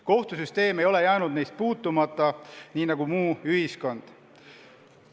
Kohtusüsteem ei ole neist puutumata jäänud, nii nagu ka muu ühiskond.